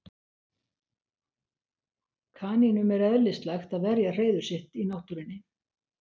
kanínum er eðlislægt að verja hreiður sitt í náttúrunni